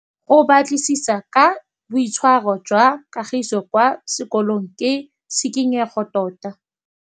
Go batlisisa ka boitshwaro jwa Kagiso kwa sekolong ke tshikinyêgô tota.